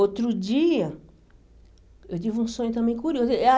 Outro dia, eu tive um sonho também curioso ah.